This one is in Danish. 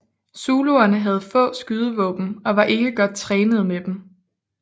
Zuluerne havde få skydevåben og var ikke godt trænede med dem